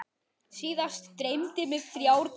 Síðast dreymdi mig þrjár kindur.